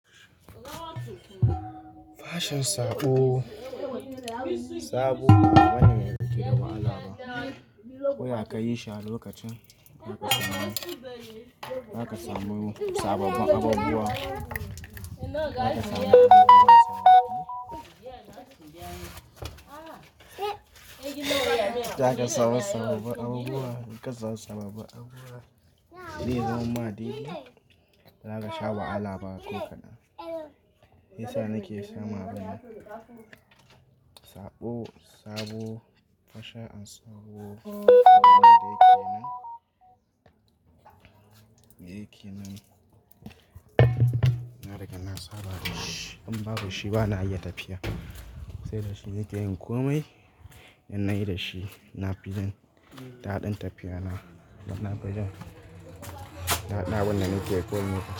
Fashin saɓo, saɓo wani mai fitira wa alama. Ko ya kayi shi a lokacin zaka samu, zaka samu sababbin abubuwa. Zaka samu sababbun abubuwa, inka samu sababbun abubuwa. Zai yiyuwan ma daidai, baza ka sha wahala ba ko kaɗan. Shiyasa nake sha ma ban saɓo, sabo, fashe ansaɓo. Me yake nan, me yake nan, na rage na saba da shi. In babu shi bana iya tafiya, sai da shi nakeyin komai. In na yi da shi, na fi jin daɗin tafiya na. Na fi jin daɗin abunda nake kowane.